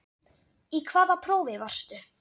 Í hvaða prófi varstu?